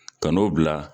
Ka n'o bila